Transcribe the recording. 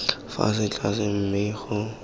se fa tlase mme o